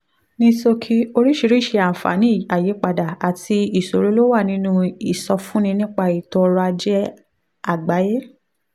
ní ṣókí oríṣiríṣi àǹfààní àyípadà àti ìṣòro ló wà nínú ìsọfúnni nípa ètò ọ̀rọ̀ ajé àgbáyé